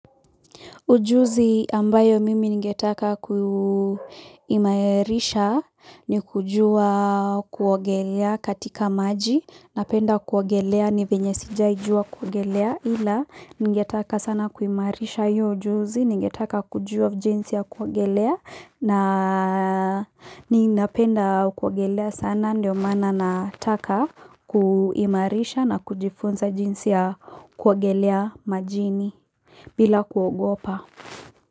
Ujuzi ambayo mimi njingetaka kuimarisha ni kujua kuogelea katika maji, napenda kuogelea ni venye sijai juwa kuogelea ila ningetaka sana kuimarisha hiyo ujuzi, ningetaka kujuwa jinsi ya kuogelea ninapenda kuogelea sana ndio maana nataka kuimarisha na kujifunza jinsi ya kuogelea majini. Bila kuogopa.